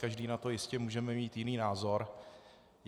Každý na to jistě můžeme mít jiný názor.